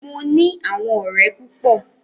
Mo ní àwọn ọ̀rẹ́ púpọ.